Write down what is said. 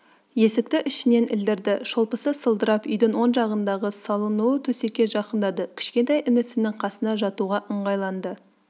есікті ішінен ілдірді шолпысы сылдырап үйдің оң жағындағы салынулы төсекке жақындады кішкентай інісінің қасына жатуға ыңғайланды